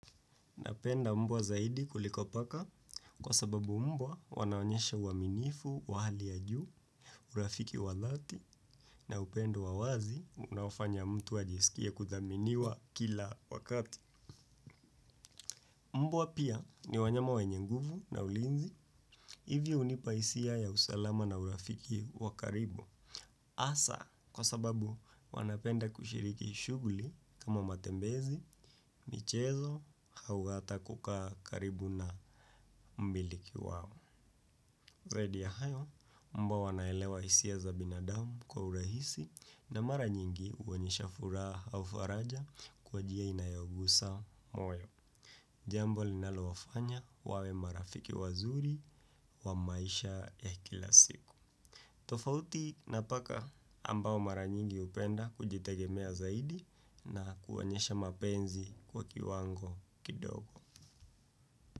Napenda mbwa zaidi kuliko paka kwa sababu mbwa wanaonyesha uaminifu, wa hali ya juu, urafiki wadhati na upendo wawazi unaofanya mtu ajisikie kuthaminiwa kila wakati. Mbwa pia ni wanyama wenye nguvu na ulinzi hivi hunipa hisia ya usalama na urafiki wakaribu. Hasa kwa sababu wanapenda kushiriki shughuli kama matembezi, michezo, au hata kukaa karibu na mmiliki wao. Zaidi ya hayo, mbwa wanaelewa hisia za binadamu kwa urahisi na mara nyingi huonyesha furaha au faraja kwa njia inayogusa moyo. Jambo linalowafanya wawe marafiki wazuri wa maisha ya kila siku. Tofauti na paka ambao mara nyingi hupenda kujitegemea zaidi na kuonyesha mapenzi kwa kiwango kidogo.